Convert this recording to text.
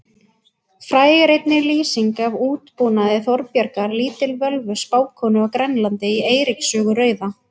Fræg er einnig lýsing af útbúnaði Þorbjargar lítilvölvu spákonu á Grænlandi í Eiríks sögu rauða.